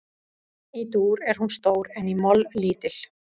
Í dúr er hún stór en í moll lítil.